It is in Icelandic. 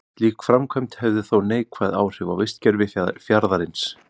Slík framkvæmd hefði þó neikvæð áhrif á vistkerfi fjarðarins.